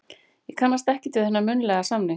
Ég kannast ekkert við þennan munnlega samning.